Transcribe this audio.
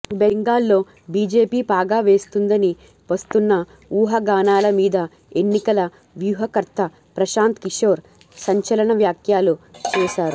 బెంగాల్ లో బీజేపీ పాగా వేస్తుందని వస్తున్న ఊహాగానాల మీద ఎన్నికల వ్యూహకర్త ప్రశాంత్ కిశోర్ సంచలన వ్యాఖ్యలు చేశారు